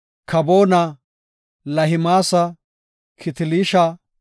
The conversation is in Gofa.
Kaboona, Lahimaasa, Kitiliisha,